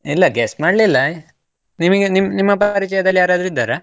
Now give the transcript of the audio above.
ಇಲ್ಲ, guest ಮಾಡ್ಲಿಲ್ಲ, ನಿಮಗೆ ನಿಮ್~ ನಿಮ್ಮ ಪರಿಚಯದಲ್ಲಿ ಯಾರಾದ್ರೂ ಇದ್ದಾರ?